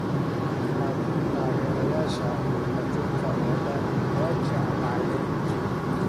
Laakiin taageerayaasha adduunka oo dhan way jeclaayeen!